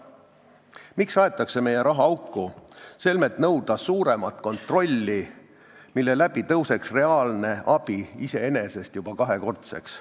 Miks aetakse meie raha auku, selmet nõuda suuremat kontrolli, mille tõttu suureneks reaalne abi kahekordseks?